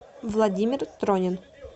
владимир тронин